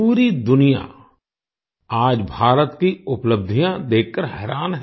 पूरी दुनिया आज भारत की उपलब्धियाँ देखकर हैरान है